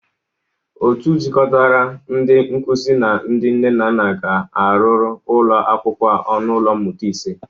Otu jịkọtara ndị nkụzị na ndị nne na nna ga-arụrụ ụlọ akwụkwọ a ọnụ ụlọ mmụta ise.